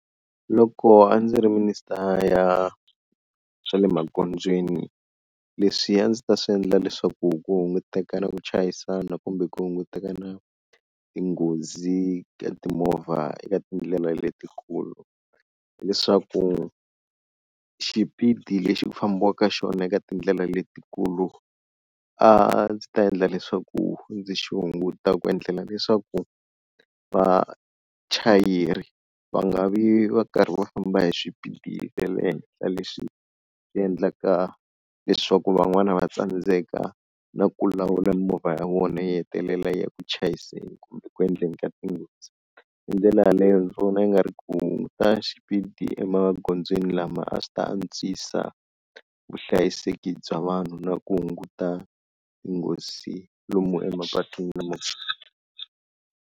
Loko a ndzi ri minister ya swa le magondzweni leswiya a ndzi ta swi endla leswaku ku hunguteka na ku chayisana kumbe ku hunguteka na tinghozi ka timovha eka tindlela letikulu, hileswaku xipidi lexi ku fambiwaka xona eka tindlela letikulu a ndzi ta endla leswaku ndzi xi hunguta ku endlela leswaku vachayeri va nga vi va karhi va famba hi xipidi xa le henhla leswi endlaka leswaku van'wana va tsandzeka na ku lawula mimovha ya vona yi hetelela yi ya ku chayiseni kumbe ku endleni ka tinghozi, hi ndlela yaleyo ndzi vona i nga ri ku hunguta xipidi emagondzweni lama a swi ta antswisa vuhlayiseki bya vanhu na ku hunguta tinghozi lomu emapatwini .